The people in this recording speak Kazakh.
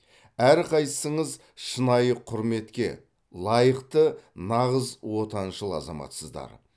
әрқайсыңыз шынайы құрметке лайықты нағыз отаншыл азаматсыздар